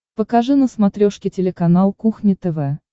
покажи на смотрешке телеканал кухня тв